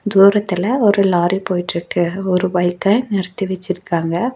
தூரத்துல ஒரு லாரி போயிட்ருக்கு ஒரு பைக்க நிறுத்தி வெச்சிருக்காங்க.